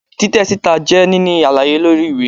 titẹ sita jé nini àlàyé lori ìwé